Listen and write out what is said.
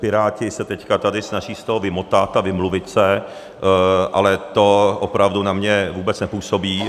Piráti se teď tady snaží z toho vymotat a vymluvit se, ale to opravdu na mě vůbec nepůsobí.